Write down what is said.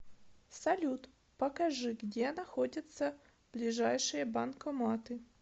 салют покажи где находятся ближайшие банкоматы